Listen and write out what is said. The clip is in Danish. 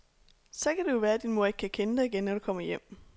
Så kan det jo være, din mor ikke kan kende dig igen, når du kommer hjem.